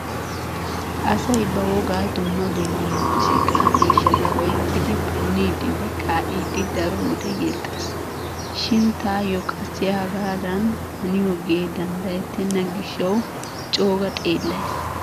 Asay ba wogaa dumma dumma muuziiqaa miishshata oyqqidi punniiddinne kaa'iiddi daro wode yexxees. Shin taayyo qassi hegaadan haniyogee danddayettenna gishshawu cooga xeellays.